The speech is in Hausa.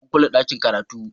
An kulle dakin karatu.